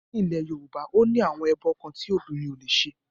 Ní ilẹ̀ Yorùbá, ó ní àwọn ẹbọ kan tí obìnrin ò lè ṣe